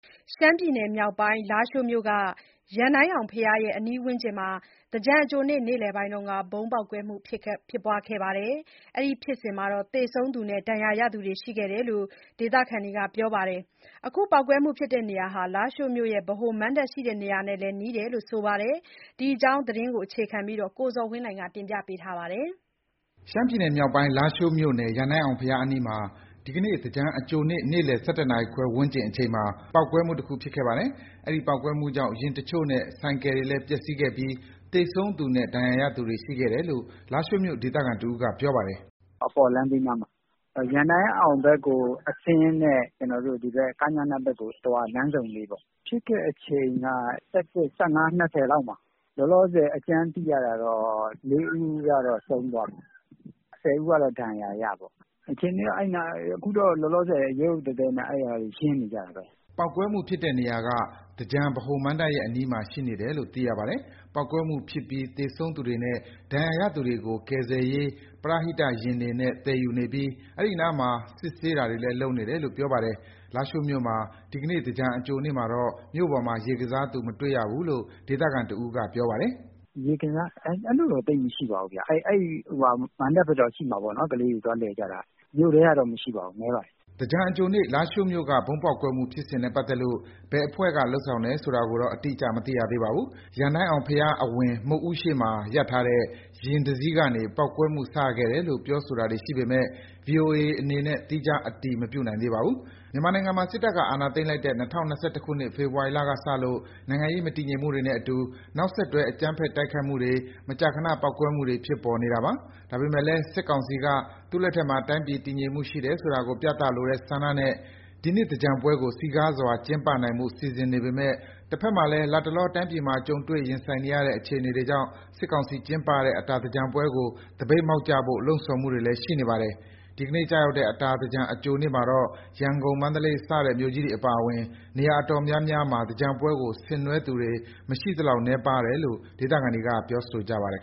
ရှမ်းပြည်နယ်မြောက်ပိုင်း၊ လားရှိုးမြို့က ရန်တိုင်းအောင်ဘုရား အနီးဝန်းကျင်မှာ သင်္ကြန်အကြိုနေ့ နေ့လည်ပိုင်း ဗုံးပေါက်ကွဲမှု ဖြစ်ခဲ့ပါတယ်။ အဲဒီဖြစ်စဉ်မှာ သေဆုံးသူနဲ့ ဒဏ်ရာရသူတွေလည်း ရှိခဲ့တယ်လို့ ဒေသခံတွေက ပြောပါတယ်။ အခုပေါက်ကွဲမှုဖြစ်တဲ့နေရာဟာ လားရှိုးမြို့ရဲ့ ဗဟိုမဏ္ဍပ်ရှိတဲ့နေရာနဲ့ နီးတယ်လို့ ဆိုပါတယ်။ ဒီအကြောင်း ရန်ကုန်ကပေးပို့လာတဲ့ သတင်းကို အခြေခံပြီး ကိုဇော်ဝင်းလှိုင်က တင်ပြပေးပါမယ်။ ရှမ်းပြည်နယ်မြောက်ပိုင်း၊ လားရှိုးမြို့က ရန်တိုင်းအောင် ဘုရားအနီးမှာ ဒီကနေ့ သင်္ကြန်အကြိုနေ့ နေ့လည် ၁၁ နာရီခွဲ ဝန်းကျင်အချိန်မှာ ပေါက်ကွဲမှုတခု ဖြစ်ခဲ့ပါတယ်။ အဲဒီပေါက်ကွဲမှုကြောင့် ယာဉ်တချို့နဲ့ ဆိုင်ကယ်တွေလည်း ပျက်စီးခဲ့ပြီး၊ သေဆုံးသူနဲ့ ဒဏ်ရာရသူတွေ ရှိခဲ့တယ်လို့ လားရှိုးမြို့ဒေသခံ တစ်ဦးက ပြောပါတယ်။ "ဖြစ်တာက အပေါ်လမ်းဘေးနားမှာ။ ရန်တိုင်းအောင်ဘက်ကို အဆင်းနဲ့ ကညနဘက်ကို အသွား လမ်းဆုံလေးပေါ့။ ဖြစ်တဲ့အချိန်က ၁၁ နာရီ ၂၀ လောက်မှာဖြစ်တာ။ လောလောဆယ် သိရတာတော့ ၄ ဦးကတော့ ဆုံးသွားပြီ။ ၁၀ ဦးကတော့ ဒဏ်ရာရထားတယ်။ အခြေအနေကတော့ အဲဒီနားမှာ အခုလောလောဆယ် ရုတ်ရုတ်သည်းသည်းနဲ့ အဲဒီမှာ ရှင်းနေကြတာပဲ။" ပေါက်ကွဲမှုဖြစ်တဲ့နေရာက သင်္ကြန်ဗဟိုမဏ္ဍပ်ရဲ့ အနီးမှာရှိနေတယ်လို့ သိရပါတယ်။ ပေါက်ကွဲမှုဖြစ်ပြီး သေဆုံးသူတွေနဲ့ ဒဏ်ရာရသူတွေကို ကယ်ဆယ်ရေး ပရဟိတယာဉ်တွေနဲ့ သယ်ယူနေပြီး၊ အဲဒီနားမှာ စစ်ဆေးတာတွေလည်း လုပ်နေတယ်လို့ ပြောပါတယ်။ လားရှိုးမြို့မှာ ဒီကနေ့ သင်္ကြန်အကြိုနေ့မှာတော့ မြို့ပေါ်မှာ ရေကစားသူ မတွေ့ရဘူးလို့ ဒေသခံတစ်ဦးက ပြောပါတယ်။ "လားရှိုးမှာ ရေကစားတာတော့ သိပ်မရှိပါဘူးဗျ။ မဏ္ဍပ်ဘက်တော့ ကလေးတွေ သွားလည်ကြတာ ရှိမှာပေါ့နော်။ မြို့ထဲမှာတော့ ရေကစားကြတာ မရှိပါဘူး။ နည်းပါတယ်။" သင်္ကြန်အကြိုနေ့ လားရှိုးမြို့က ဗုံးပေါက်ကွဲမှု ဖြစ်စဉ်နဲ့ ပတ်သက်လို့ ဘယ်အဖွဲ့က လုပ်ဆောင်ခဲ့တယ်ဆိုတာကိုတော့ အတိအကျ မသိရသေးပါဘူး။ ရန်တိုင်းအောင်ဘုရား အဝင်မုဒ်ဦးရှေ့မှာ ရပ်ထားတဲ့ ယာဉ်တစီးကနေ ဒီပေါက်ကွဲမှု စခဲ့တယ်လို့ ပြောဆိုတာတွေ ရှိပေမယ့် VOA အနေနဲ့ သီးခြားအတည် မပြုနိုင်သေးပါဘူး။ မြန်မာနိုင်ငံမှာ စစ်တပ်က အာဏာသိမ်းလိုက်တဲ့ ၂၀၂၁ ခုနှစ်၊ ဖေဖော်ဝါရီလကစလို့ နိုင်ငံရေးမတည်ငြိမ်မှုတွေနဲ့အတူ နောက်ဆက်တွဲ အကြမ်းဖက် တိုက်ခိုက်မှုတွေ၊ မကြာခဏ ပေါက်ကွဲမှုတွေ ဖြစ်ပေါ်နေတာပါ။ ဒါပေမယ့်လည်း စစ်ကောင်စီက သူ့လက်ထက်မှာ တိုင်းပြည် တည်ငြိမ်မှုရှိတယ်ဆိုတာကို ပြလိုတဲ့ဆန္ဒနဲ့ ဒီနှစ်သင်္ကြန်ပွဲကို စည်ကားစွာ ကျင်းပနိုင်ဖို့ စီစဉ်နေပေမယ့် တဘက်မှာလည်း လတ်တလော တိုင်းပြည်မှာ ကြုံတွေ့ ရင်ဆိုင်နေရတဲ့ အခြေအနေတွေကြောင့် စစ်ကောင်စီကျင်းပတဲ့ အတာသင်္ကြန်ပွဲ သပိတ်မှောက်ကြဖို့ လှုံ့ဆော်မှုတွေလည်း ရှိနေပါတယ်။ ဒီကနေ့ကျရောက်တဲ့ အတာသင်္ကြန် အကြိုနေ့မှာတော့ ရန်ကုန်၊ မန္တလေး စတဲ့ မြို့ကြီးတွေအပါအဝင် နေရာ အတော်များများမှာ သင်္ကြန်ပွဲကို ဆင်နွှဲသူတွေ မရှိသလောက် နည်းပါးတယ်လို့ ဒေသခံတွေက ပြောဆိုကြပါတယ်